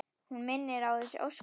Hún minnir á þessi ósköp.